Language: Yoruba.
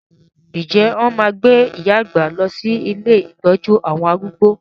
Ǹjẹ́ wọn máa gbé iya àgbà lọ sí ilé ìtọ́jú àwọn arúgbó?